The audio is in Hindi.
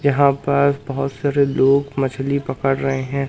यहां पर बहुत सारे लोग मछली पकड़ रहे हैं।